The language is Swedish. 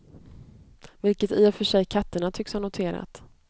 Vilket i och för sig katterna tycks ha noterat.